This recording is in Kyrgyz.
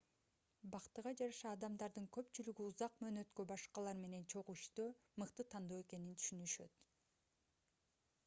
бактыга жараша адамдардын көпчүлүгү узак мөөнөткө башкалар менен чогуу иштөө мыкты тандоо экенин түшүнүшөт